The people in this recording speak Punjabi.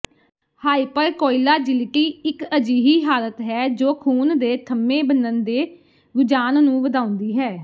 ਹਾਈਪਰਕੋਇਲਾਜਿਲਿਟੀ ਇੱਕ ਅਜਿਹੀ ਹਾਲਤ ਹੈ ਜੋ ਖੂਨ ਦੇ ਥੱਮੇ ਬਣਨ ਦੇ ਰੁਝਾਨ ਨੂੰ ਵਧਾਉਂਦੀ ਹੈ